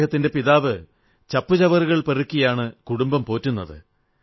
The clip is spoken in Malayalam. അദ്ദേഹത്തിന്റെ പിതാവ് ചപ്പുചവറുകൾ പെറുക്കിയാണ് കുടുംബം പോറ്റുന്നത്